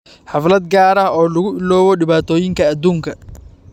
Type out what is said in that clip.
Xaflad gaar ah oo lagu iloobo dhibaatooyinka adduunka